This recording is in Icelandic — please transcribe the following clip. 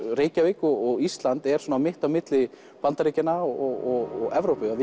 Reykjavík og Ísland eru mitt á milli Bandaríkjanna og Evrópu og